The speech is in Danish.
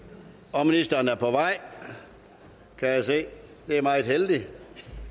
og ministeren er på vej kan jeg se det er meget heldigt og